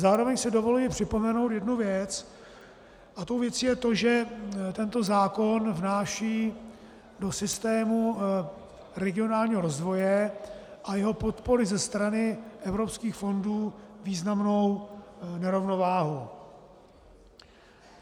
Zároveň si dovoluji připomenout jednu věc a tou věcí je to, že tento zákon vnáší do systému regionálního rozvoje a jeho podpory ze strany evropských fondů významnou nerovnováhu.